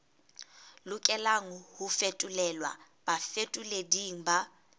lokelang ho fetolelwa bafetoleding ba